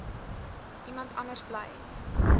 iemand anders bly